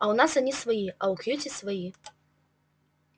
у нас они свои а у кьюти свои